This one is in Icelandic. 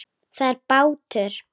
Það er bátur.